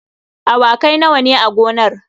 Awakai nawa ne a gonar?